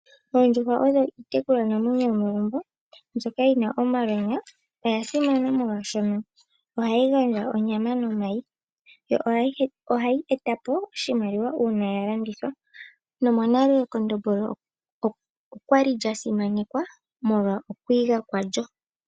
Oondjuhwa odho iitekulwanamwenyo yomegumbo ndjoka yina omalwaala. Oya simana molwaashono ohayi gandja onyama nomayi, yo ohayi eta po oshimaliwa po uuna yalandithwa po , nomonale ekondombolo okwa li lyasimanekwa molwa okwiiga kwa lyo.